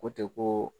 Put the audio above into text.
Ko ten ko